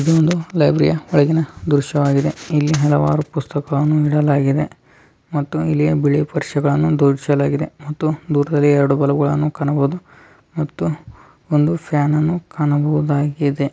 ಇದು ಲೈಬ್ರರಿ ಯ ಒಳಗಿನ ದೃಶ್ಯವಾಗಿದೆ ಇಲ್ಲಿ ಹಲವಾರು ಪುಸ್ತಕಗಳನ್ನು ಇಡಲಾಗಿದೆ ಮತ್ತು ಪುಸ್ತಕಗಳನ್ನು ಜೋಡಿಸಲಾಗಿದೆ ಮತ್ತು ಒಂದು ಫ್ಯಾನ್ ಅನ್ನು ಸಹ ಕಾಣಬಹುದಾಗಿದೆ.